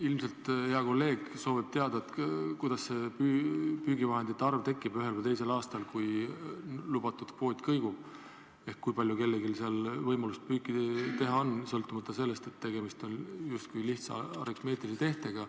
Ilmselt soovib hea kolleeg teada, kuidas see püügivahendite arv tekib ühel või teisel aastal, kui lubatud kvoot kõigub, ehk kui palju kellelgi on võimalust püüda, sõltumata sellest, et tegemist on justkui lihtsa aritmeetilise tehtega.